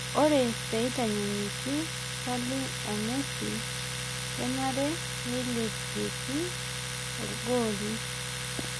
ore peitanyanyuki saling o messi kenare neilepieki ogooli